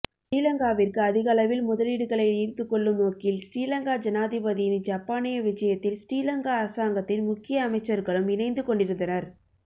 ஸ்ரீலங்காவிற்கு அதிகளவில் முதலீடுகளை ஈர்த்துக்கொள்ளும் நோக்கில் ஸ்ரீலங்கா ஜனாதிபதியின் ஜப்பானிய விஜயத்தில் ஸ்ரீலங்கா அரசாங்கத்தின் முக்கிய அமைச்சர்களும் இணைந்துகொண்டிருந்தனர்